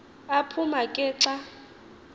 aphuma ke xa